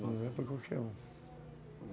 Não é para qualquer um.